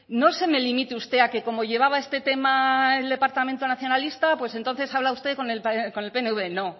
no se me limite usted a que como llevaba este tema el departamento nacionalista pues entonces habla usted con el pnv no